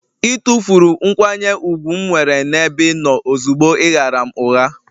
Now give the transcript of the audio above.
Ị tụfuru nkwanye ùgwù m nwere n'ebe ị nọ ozugbo ị ghaara m ụgha